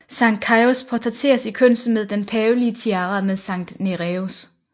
Sankt Caius portrætteres i kunsten med den pavelige tiara med Sankt Nereus